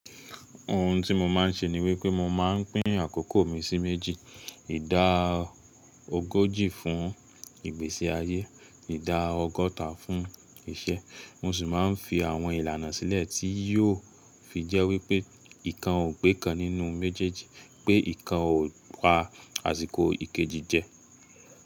Ohun tí mo máa ń ṣe ni wípé mo máa ń pín àkókò mi sí méjì; ìdá ogójì fún ìgbésí ayé, ìdá ọgọ́ta fún iṣẹ́. Mo sì máa ń fi àwọn ìlànà sílẹ̀ tí yóò fi jẹ́ wípé ìkan ò pé kan nínú méjèèjì pé ìkan ò pa àsìkò ìkejì jẹ.